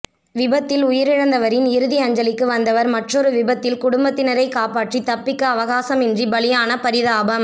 விபத்தில் உயிரிழந்தவரின் இறுதி அஞ்சலிக்கு வந்தவர் மற்றொரு விபத்தில் குடும்பத்தினரை காப்பாற்றி தப்பிக்க அவகாசமின்றி பலியான பரிதாபம்